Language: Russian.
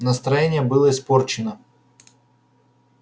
настроение было испорчено